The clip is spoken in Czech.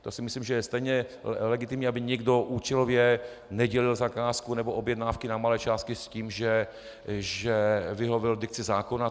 To si myslím, že je stejně legitimní, aby někdo účelově nedělil zakázku nebo objednávky na malé části s tím, že vyhověl dikci zákona.